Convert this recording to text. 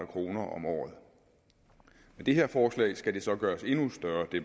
kroner om året med det her forslag skal det beløb så gøres endnu større det